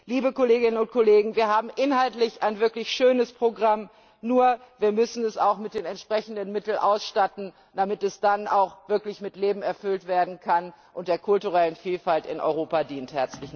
Liebe Kolleginnen und Kollegen, wir haben inhaltlich ein wirklich schönes Programm, nur wir müssen es auch mit den entsprechenden Mitteln ausstatten, damit es dann auch wirklich mit Leben erfüllt werden kann und der kulturellen Vielfalt in Europa dient!